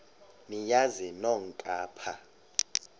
niyazi nonk apha